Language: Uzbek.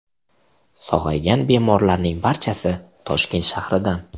Sog‘aygan bemorlarning barchasi Toshkent shahridan.